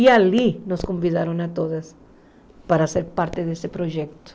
E ali nos convidaram a todas para ser parte desse projeto.